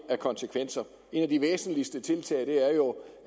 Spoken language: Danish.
af konsekvenser et af de væsentligste tiltag er jo